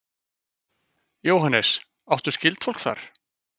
Jóhannes: Áttu skyldfólk þar?